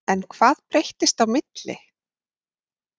En hvað breyttist á milli?